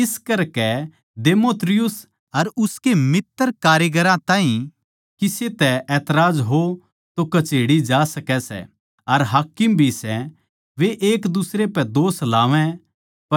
इस करकै देमेत्रियुस अर उसके मित्तरकारिगरां ताहीं किसे तै एतराज हो तो कच्हेड़ी जा सकै सै अर हाकिम भी सै वे एकदुसरे पै दोष लावै